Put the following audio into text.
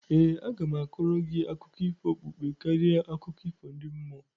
ee, aga m a kọọrọ gị akụkọ ifo okpukpe karịa akụkọ ifo ndi mmụọ